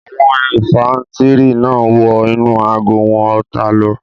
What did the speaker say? Àwọn ifàntiri náà wọ inú àgọ́ àwọn ọ̀tá lọ